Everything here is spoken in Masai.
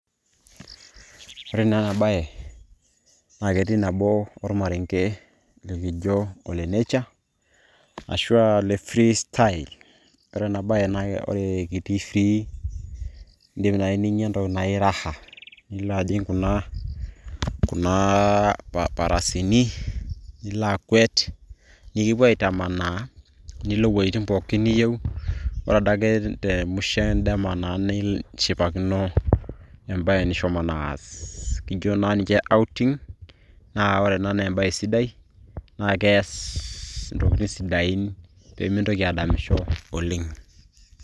Ore naa enabae, na ketii nabo ormarenke likijo ole nature. Ashua ole free style. Ore enabae na itii free. Idim nai ninya entoki naji raha ,nilo ajing' kuna kuna ah farasini, nilo akwet. Nikipuo aitamanaa. Nilo iwuejiting pookin niyieu, ore adake temusho edama na nishipakino ebae nishomo naa aas. Kijo na ninche outing ,na ore ena na ebae sidai. Na kees intokiting' sidain pemintoki adamisho oleng'.